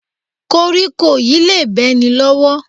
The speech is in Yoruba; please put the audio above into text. Kóríkó yìí le bẹ́ ni lọ́wọ́